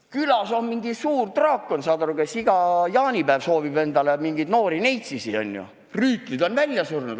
Külas on suur draakon, saate aru, kes iga jaanipäev soovib endale noori neitseid, kuid rüütlid on välja surnud.